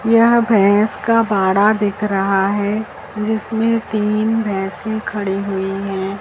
यह भैंस का बाड़ा दिख रहा है जिसमें तीन भैंसे खड़ी हुई हैं।